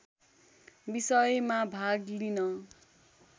विषयमा भाग लिन